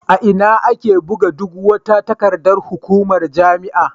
A ina ake buga duk wata takardar hukumar jami'a?